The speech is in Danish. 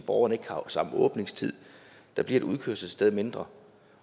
borgerne ikke har samme åbningstid der bliver et udkørselssted mindre